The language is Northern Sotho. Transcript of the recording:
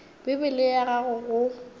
bibele ye ya gago go